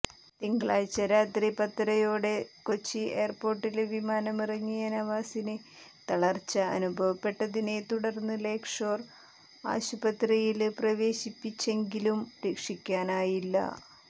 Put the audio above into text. തിങ്കളാഴ്ച രാത്രി പത്തരയോടെ കൊച്ചി എയര്പോര്ട്ടില് വിമാനമിറങ്ങിയ നവാസിനെ തളര്ച്ച അനുഭവപ്പെട്ടതിനെ തുടര്ന്ന്് ലേക് ഷോര് ആശുപത്രിയില് പ്രവേശിപ്പിച്ചെങ്കിലും രക്ഷിക്കാനായില്ല